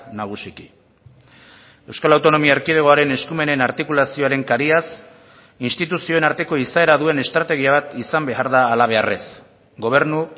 nagusiki euskal autonomia erkidegoaren eskumenen artikulazioaren kariaz instituzioen arteko izaera duen estrategia bat izan behar da halabeharrez gobernu